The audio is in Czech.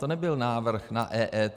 To nebyl návrh na EET.